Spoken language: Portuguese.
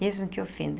Mesmo que ofenda.